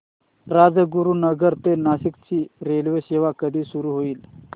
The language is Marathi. राजगुरूनगर ते नाशिक ची रेल्वेसेवा कधी सुरू होईल